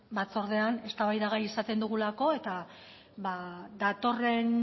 batzordean eztabaidagai izaten dugulako eta datorren